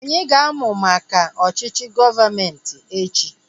Anyị ga-amu maka ọchịchị gọọmenti echi